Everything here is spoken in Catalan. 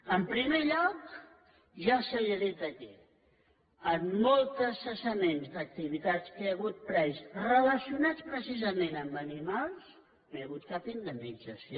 en primer lloc ja se li ha dit aquí en molts cessaments d’activitats que hi ha hagut previs relacionats precisament amb animals no hi ha hagut cap indemnització